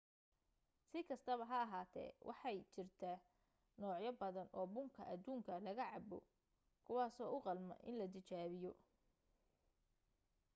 si kastaba ha ahaatee waxay jira noocyo badan oo bunka adduunka looga cabbo kuwaaso u qalma in la tijaabiyo